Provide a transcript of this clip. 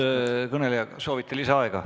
Austatud kõneleja, kas soovite lisaaega?